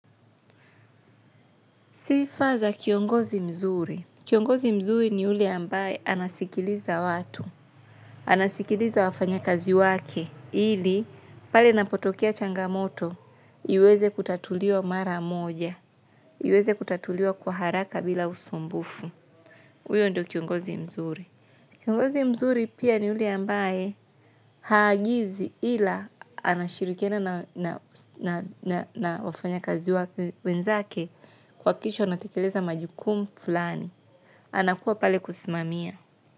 Sifa za kiongozi mzuri. Kiongozi mzuri ni yule ambaye anasikiliza watu. Anasikiliza wafanya kazi wake. Ili, pale inapotokeya changamoto, iweze kutatuliwa mara moja. Iweze kutatuliwa kwa haraka bila usumbufu. Uyo ndo kiongozi mzuri. Kiongozi mzuri pia ni yule ambaye haagizi ila anashirikiana na na wafanya kazi wake. Wenzake kuwakisha wanatekeleza majukumu fulani. Anakuwa pale kusimamia.